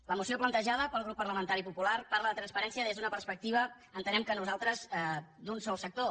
la moció plantejada pel grup parlamentari popular parla de transparència des de la perspectiva entenem nosaltres d’un sol sector